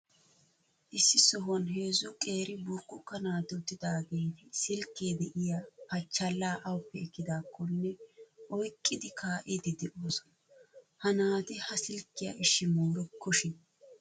Issi sohuwan heezzu qeeri burkkukka naati uttidaageeti silkke de'iya pachchallaa awuppe ekkidaakkonne oyqqidi kaa"iiddi de'oosona. Ha naati ha silkkiya ishshi moorikkoshin!